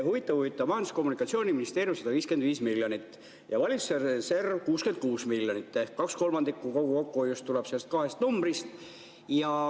Huvitav-huvitav, Majandus- ja Kommunikatsiooniministeerium – 155 miljonit ja valitsuse reserv – 66 miljonit ehk kaks kolmandikku kogu kokkuhoiust tuleb neist kahest numbrist.